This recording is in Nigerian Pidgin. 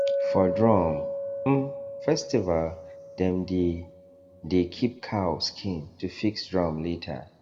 for drum um festival dem dey dey keep cow skin to fix drum later